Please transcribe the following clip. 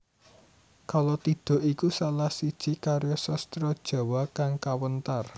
Kalatidha iku salah siji karya sastra Jawa kang kawentar